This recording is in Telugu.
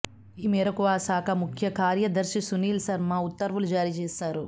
ఈ మేరకు ఆ శాఖ ముఖ్య కార్యదర్శి సునిల్ శర్మ ఉత్తర్వులు జారీ చేశారు